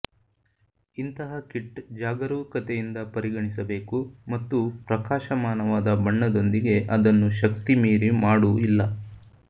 ಇಂತಹ ಕಿಟ್ ಜಾಗರೂಕತೆಯಿಂದ ಪರಿಗಣಿಸಬೇಕು ಮತ್ತು ಪ್ರಕಾಶಮಾನವಾದ ಬಣ್ಣದೊಂದಿಗೆ ಅದನ್ನು ಶಕ್ತಿ ಮೀರಿ ಮಾಡು ಇಲ್ಲ